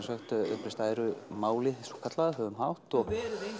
uppreist æru málið svokallaða höfum hátt og